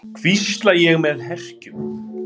hvísla ég með herkjum.